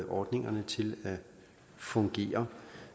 ordningerne til at fungere